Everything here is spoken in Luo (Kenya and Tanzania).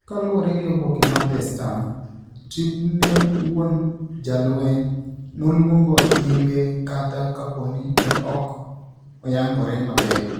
Kaluore gi oboke mar The Star Tribune, wuon jalweny no luongo nyinge kata kapo ni ne ok oyangore maber.